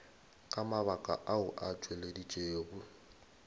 ka mabaka ao a tšweleditšwego